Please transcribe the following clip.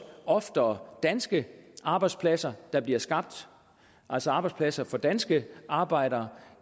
oftere danske arbejdspladser der bliver skabt altså arbejdspladser for danske arbejdere